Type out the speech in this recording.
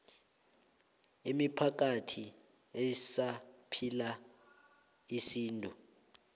imiphakathi esaphila isintu